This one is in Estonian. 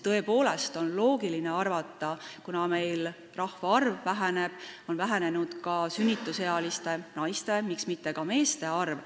Tõepoolest on loogiline arvata, et kuna rahvaarv väheneb, siis on vähenenud ka sünnitusealiste naiste, miks mitte ka meeste arv.